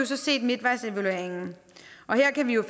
så set midtvejsevalueringen og her kan vi jo